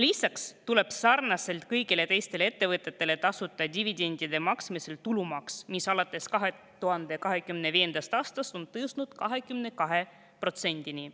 Lisaks tuleb sarnaselt kõigi teiste ettevõtetega tasuda dividendide maksmisel tulumaksu, mis alates 2025. aastast on tõusnud 22%‑ni.